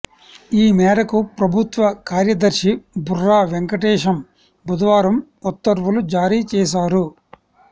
ఈ మేరకు ప్రభుత్వ కార్యదర్శి బుర్రా వెంకటేశం బుధవారం ఉత్తర్వులు జారీ చేశారు